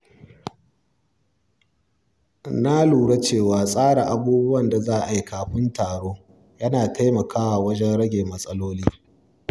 Na lura cewa tsara abubuwan da za a yi kafin taro yana taimakawa wajen rage matsaloli.